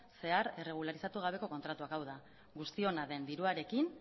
zehar erregularizatu gabeko kontratuak hau da guztiona den diruarekin